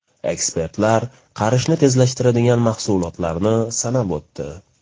Ekspertlar qarishni tezlashtiradigan mahsulotlarni sanab o‘tdi.